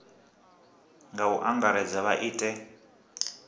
nga u angaredza vha ite